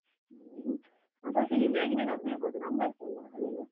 ter ಅದ್ ಸ್ವಲ್ಪ easy ಯಾಗಿ ನೆನಪಿಡ್ಬಹುದು numbers ಅಲ್ಲ ಅವೆಲ್ಲ.